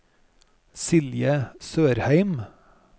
Silje Sørheim